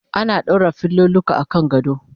ana ɗaura filoluka akan gado